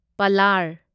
ꯄꯂꯥꯔ